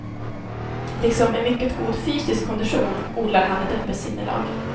Liksom en mycket god fysisk kondition odlar han ett öppet sinnelag.